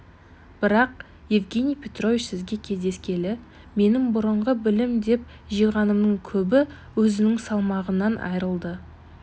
бірақ евгений петрович сізге кездескелі менің бұрынғы білім деп жиғанымның көбі өзінің салмағынан айрылды